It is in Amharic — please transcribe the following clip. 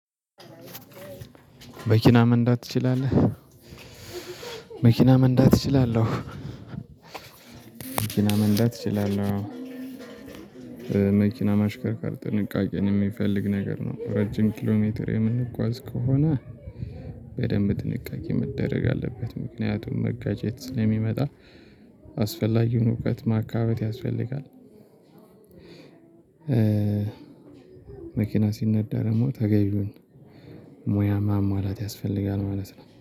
መኪና መንዳት ትችላለህ? መኪና መንዳት እችላለሁ። መኪና መንዳት እችላለሁ። መኪና ማሽከርካር ጥንቃቄን የሚፈልግ ነገር ነው። ረጅም ኪሎ ሜትር የምንጓዝ ከሆነ በደንብ ጥንቃቄ መደረግ አለበት። ምክንያቱም መጋጨት ስለሚመጣ አስፈላጊውን እውቀት ማካበት ያስፈልጋል። መኪና ሲነዳ ደግሞ ተገይውን ምያ ማሟላት ያስፈልጋል ማለት ነው